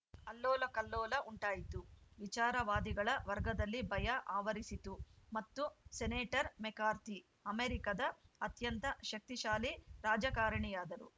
ಅಲ್ಲೋಲಕಲ್ಲೋಲ ಉಂಟಾಯಿತು ವಿಚಾರವಾದಿಗಳ ವರ್ಗದಲ್ಲಿ ಭಯ ಆವರಿಸಿತು ಮತ್ತು ಸೆನೇಟರ್‌ ಮೆಕಾರ್ಥಿ ಅಮೆರಿಕದ ಅತ್ಯಂತ ಶಕ್ತಿಶಾಲಿ ರಾಜಕಾರಣಿಯಾದರು